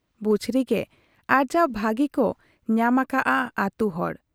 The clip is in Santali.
ᱵᱩᱪᱷᱨᱤ ᱜᱮ ᱟᱨᱡᱟᱣ ᱵᱷᱟᱹᱜᱤ ᱠᱚ ᱧᱟᱢ ᱟᱠᱟᱜ ᱟ ᱟᱹᱛᱩ ᱦᱚᱲ ᱾